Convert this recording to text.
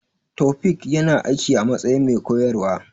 Taofiq ya na aiki a matsayin mai koyarwa